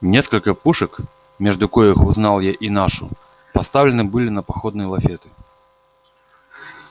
несколько пушек между коих узнал я и нашу поставлены были на походные лафеты